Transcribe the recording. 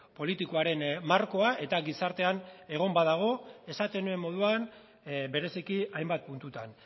politikoaren markoa eta gizartean egon badago esaten nuen moduan bereziki hainbat puntutan